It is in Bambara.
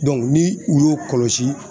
ni u y'u kɔlɔsi